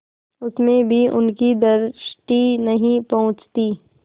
उसमें भी उनकी दृष्टि नहीं पहुँचती